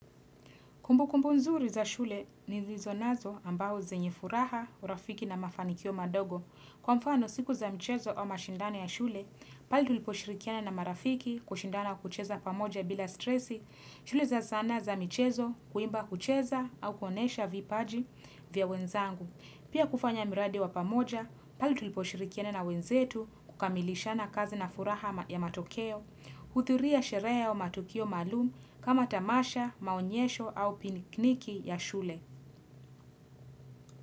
Kumbu kumbu nzuri za shule nilizo nazo ambao zenye furaha urafiki na mafanikio madogo. Kwa mfano siku za mchezo au mashindano ya shule, pali tuliposhirikiana na marafiki kushindana kucheza pamoja bila stresi, shule za zana za mchezo kuimba kucheza au kuonesha vipaji vya wenzangu. Pia kufanya miradi wa pamoja, pali tuliposhirikiana na wenzetu kukamilishana kazi na furaha ya matokeo, kuhudhuria sherehe ya matokeo maalum kama tamasha, maonyesho au pikniki ya shule.